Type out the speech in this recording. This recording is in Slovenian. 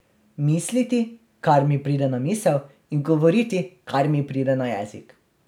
Misliti, kar mi pride na misel, in govoriti, kar mi pride na jezik.